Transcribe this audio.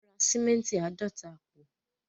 Wọ́n ra sìmẹ́ǹtì àádọ́ta àpò.